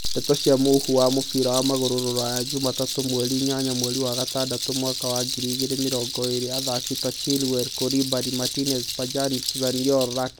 Ndeto cia mũhuhu cia mũbira wa magũrũ Rũraya juma tatũ mweri inyanya mweri wa gatandatũ mwaka wa ngiri igĩrĩ mĩrongo ĩrĩ athaki ta Chilwell, Koulibaly, Martinez, Pjanic, Zaniolo, Rakitic